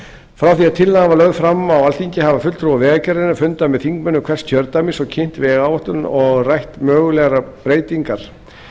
að tillagan var lögð fram á alþingi hafa fulltrúar vegagerðarinnar fundað með þingmönnum hvers kjördæmis og kynnt vegáætlun og rætt mögulegar breytingar